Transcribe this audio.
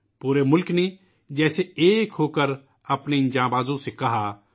پورے ملک نے جیسے ایک ہوکر اپنے اِن جانبازوں سے کہا